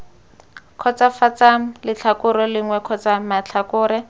kgotsofatsang letlhakore lengwe kgotsa matlhakore